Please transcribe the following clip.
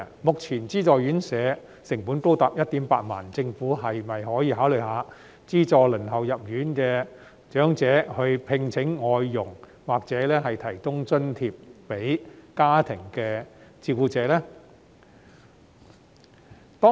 目前資助院舍宿位的成本高達 18,000 元，政府可否考慮資助輪候入住院舍的長者聘請外傭，或為家庭照顧者提供津貼呢？